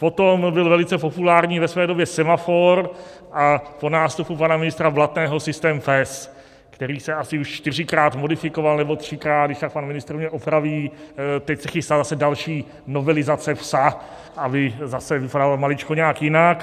Potom byl velice populární ve své době semafor a po nástupu pana ministra Blatného systém PES, který se asi už čtyřikrát modifikoval, nebo třikrát, když tak pan ministr mě opraví, teď se chystá zase další novelizace "psa", aby zase vypadal maličko nějak jinak.